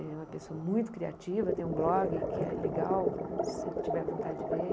Ele é uma pessoa muito criativa, tem um blog que é legal, se tiver vontade de ver.